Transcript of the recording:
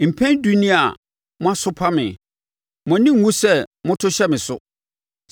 Mpɛn edu nie a moasopa me; mo ani nwu sɛ moto hyɛ me so.